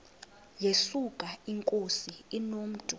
yesuka inkosi inomntu